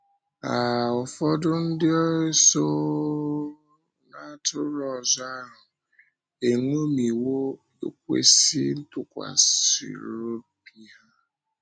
um Ụfọdụ ndị so um ‘n’atụrụ ọzọ’ ahụ eṅomiwo ekwésị ntụkwasị obi ha.